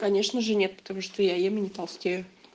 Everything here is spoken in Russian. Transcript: конечно же нет потому что я ем и не толстею